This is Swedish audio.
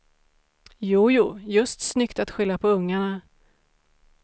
Jojo, just snyggt att skylla på ungarna.